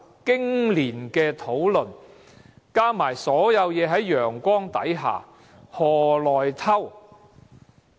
經年的討論，加上所有事在陽光之下，何來"偷"？